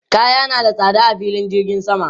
Kaya na da tsada a filin jirgin sama.